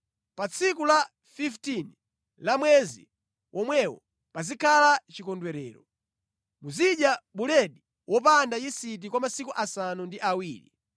Pa tsiku la 15 la mwezi womwewo pazikhala chikondwerero. Muzidya buledi wopanda yisiti kwa masiku asanu ndi awiri.